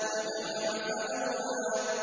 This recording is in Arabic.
وَجَمَعَ فَأَوْعَىٰ